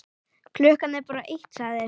Klukkan er bara eitt, sagði